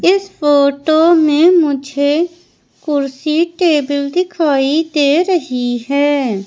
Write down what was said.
इस फोटो में मुझे कुर्सी टेबल दिखाई दे रही है।